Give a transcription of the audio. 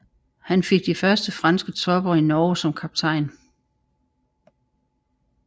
Han fik først de franske tropper i Norge som kaptajn